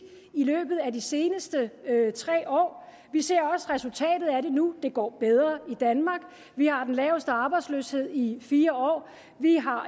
i løbet af de seneste tre år vi ser også resultatet af det nu det går bedre i danmark vi har den laveste arbejdsløshed i fire år vi har